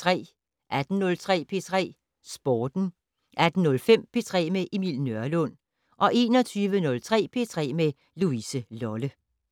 18:03: P3 Sporten 18:05: P3 med Emil Nørlund 21:03: P3 med Louise Lolle